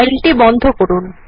ফাইলটি বন্ধ করুন